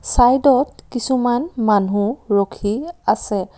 চাইডত কিছুমান মানুহ ৰখি আছে।